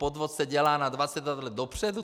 Podvod se dělá na 22 let dopředu?